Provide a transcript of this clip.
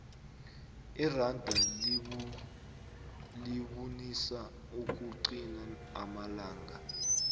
iranda libunisa ukuqina amalanga